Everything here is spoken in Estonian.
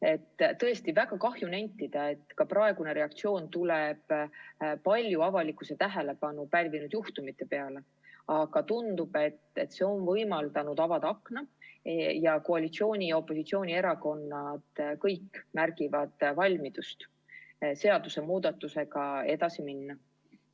Ja tõesti on väga kahju, et praegune muudatus tuleneb palju avalikkuse tähelepanu pälvinud juhtumitest, aga tundub, et see on võimaldanud avada akna ning koalitsiooni- ja opositsioonierakonnad kõik näitavad valmidust seaduse muutmisega edasi minna.